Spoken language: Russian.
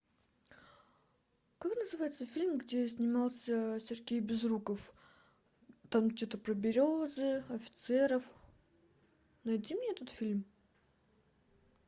как называется фильм где снимался сергей безруков там что то про березы офицеров найди мне этот фильм